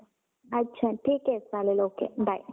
अच्छा ठीक ये okay चालेल bye.